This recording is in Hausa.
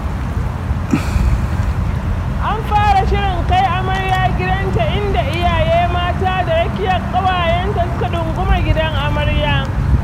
An fara shirin kai amarya gidanta inda iyaye mata da rakiya ƙawayenta suka ɗunguma gidan amarya.